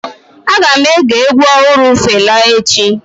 Aga m ege egwu ọhụrụ Fela echi.